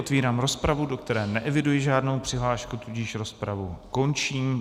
Otevírám rozpravu, do které neeviduji žádnou přihlášku, tudíž rozpravu končím.